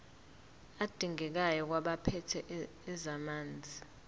adingekayo kwabaphethe ezamanzi